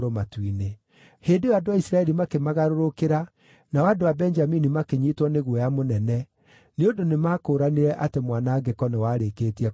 Hĩndĩ ĩyo andũ a Isiraeli makĩmagarũrũkĩra nao andũ a Benjamini makĩnyiitwo nĩ guoya mũnene, nĩ ũndũ nĩmakũũranire atĩ mwanangĩko nĩwarĩĩkĩtie kũmakora.